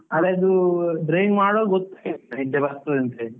ಆದರೆ ಅದು driving ಮಾಡುವಾಗ ಗೊತ್ತೇ ಆಗುದಿಲ್ಲ, ನಿದ್ದೆ ಬರ್ತದೆ ಅಂತ ಹೇಳಿ.